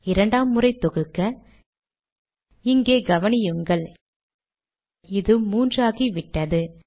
இரண்டாம் முறை தொகுக்க இங்கே கவனியுங்கள் இது மூன்று ஆகிவிட்டது